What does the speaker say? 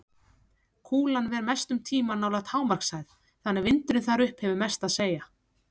Kúlan ver mestum tíma nálægt hámarkshæð þannig að vindurinn þar upp hefur mest að segja.